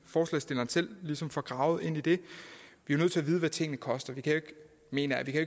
forslagsstilleren selv ligesom får gravet ind i det vi er nødt til at vide hvad tingene koster mener jeg vi kan